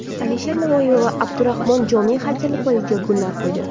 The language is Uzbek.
Alisher Navoiy va Abdurahmon Jomiy haykali poyiga gullar qo‘ydi.